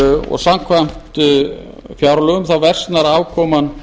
og samkvæmt fjárlögum versnar afkoman